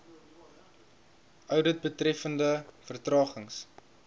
oudit betreffende vertragings